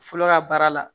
Fɔlɔ ka baara la